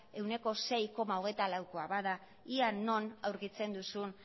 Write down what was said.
ehuneko sei koma hogeita laukoa bada ea non aurkitzen duzun